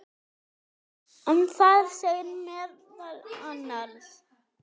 en þar segir meðal annars